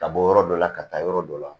Ka bɔ yɔrɔ dɔ la ka taa yɔrɔ dɔ la